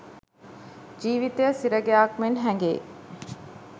ජීවිතය සිරගෙයක් මෙන් හැඟෙයි.